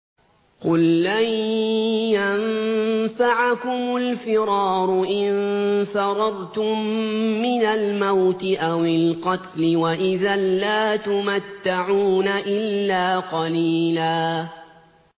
قُل لَّن يَنفَعَكُمُ الْفِرَارُ إِن فَرَرْتُم مِّنَ الْمَوْتِ أَوِ الْقَتْلِ وَإِذًا لَّا تُمَتَّعُونَ إِلَّا قَلِيلًا